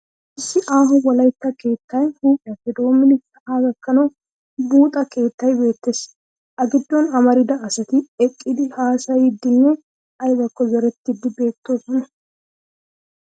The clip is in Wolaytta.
Issi aaho wolaytta keettay huuphiyappe dommidi sa'aa gakkanawu buuxa keettay beettes. A giddon amarida asati eqqidi haasayiiddinne aybakko zorettiiddi beettoosona.